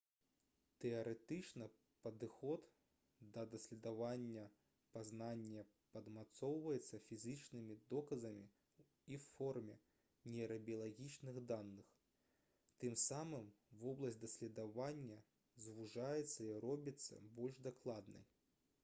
тэарэтычны падыход да даследавання пазнання падмацоўваецца фізічнымі доказамі ў форме нейрабіялагічных даных тым самым вобласць даследавання звужаецца і робіцца больш дакладнай